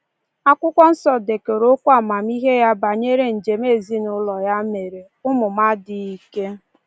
Akwụkwọ Nsọ dekọrọ okwu amamihe ya banyere njem ezinụụlọ ya mere: “ Ụmụ m adịghị ike...